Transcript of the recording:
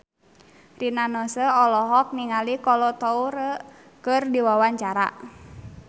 Rina Nose olohok ningali Kolo Taure keur diwawancara